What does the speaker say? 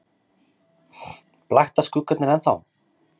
Blakta skuggarnir ennþá?